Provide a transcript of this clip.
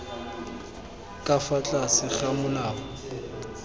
ka fa tlase ga molao